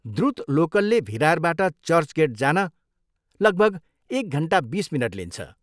द्रुत लोकलले भिरारबाट चर्चगेट जान लगभग एक घन्टा बिस मिनट लिन्छ।